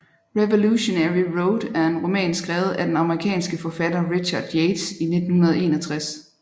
Revolutionary Road er en roman skrevet af den amerikanske forfatter Richard Yates i 1961